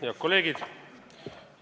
Head kolleegid!